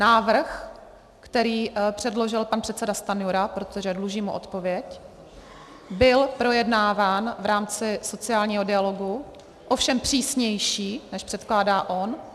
Návrh, který předložil pan předseda Stanjura, protože dlužím mu odpověď, byl projednáván v rámci sociálního dialogu, ovšem přísnější, než předkládá on.